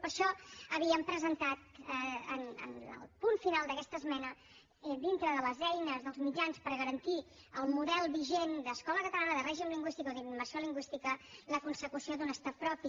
per això havíem presentat en el punt final d’aquesta esmena dintre de les eines dels mitjans per garantir el model vigent d’escola catalana de règim lingüístic o d’immersió lingüística la consecució d’un estat propi